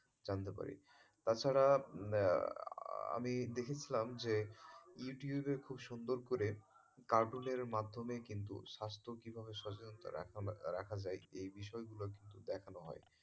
জানতে পারি তাছাড়া আমি দেখেছিলাম যে youtube এ খুব সুন্দর করে cartoon এর মাধ্যমে কিন্তু স্বাস্থ্য কীভাবে সচেতনতা রাখা যায় এই বিষয় গুলো কিন্তু দেখানো হয়।